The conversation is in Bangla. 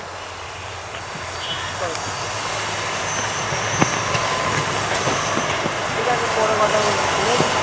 ঠিকাছে পরে কথা বলছি ঠিকাছে?